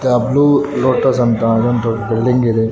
The blue lotus ಅಂತ‌ ಒಂದು building ಇದೆ.